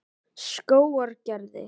Skógargerði